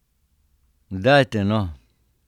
Dajte no!